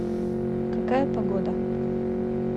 какая погода